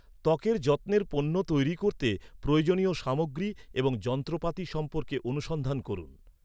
ত্বকের যত্নের পণ্য তৈরি করতে প্রয়োজনীয় সামগ্রী এবং যন্ত্রপাতি সম্পর্কে অনুসন্ধান করুন।